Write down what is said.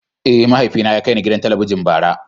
Eh, mahaifina ya kai ni gidan Talabijin bara.